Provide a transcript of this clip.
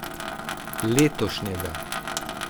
Letošnjega.